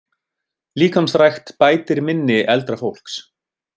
Líkamsrækt bætir minni eldra fólks